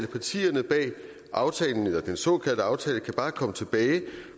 partierne bag den såkaldte aftale kan bare komme tilbage